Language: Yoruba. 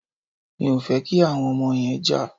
Mi ò fẹ́ kí àwọn ọmọ yẹn jà.